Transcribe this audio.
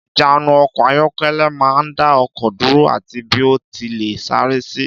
Ìjánu ọkọ̀ ayọ́kẹ́lẹ́ máa ń dá ọkọ̀ dúró ati bí ó ti léè sáré sì.